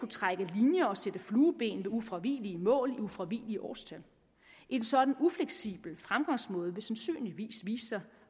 trække linjer og sætte flueben ved ufravigelige mål og ufravigelige årstal en sådan ufleksibel fremgangsmåde ville sandsynligvis vise sig